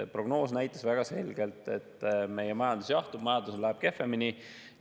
Prognoos näitas väga selgelt, et meie majandus jahtub, majandusel läheb kehvemini.